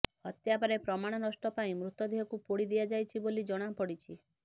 ହତ୍ୟାପରେ ପ୍ରମାଣ ନଷ୍ଟ ପାଇଁ ମୃତଦେହକୁ ପୋଡ଼ି ଦିଆଯାଇଛି ବୋଲି ଜଣାପଡ଼ିଛି